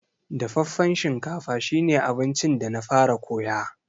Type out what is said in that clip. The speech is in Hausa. Dafaffen shinkafa shi ne abincin da na fara koya.